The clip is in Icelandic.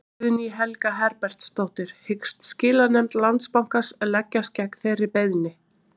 Guðný Helga Herbertsdóttir: Hyggst skilanefnd Landsbankans leggjast gegn þeirri beiðni?